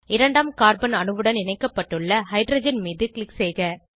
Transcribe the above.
இரண்டாம் கார்பன் அணுவுடன் இணைக்கப்பட்டுள்ள ஹைட்ரஜன் மீது க்ளிக் செய்க